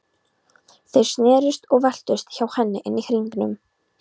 Þeir snerust og veltust hjá henni inni í hringnum.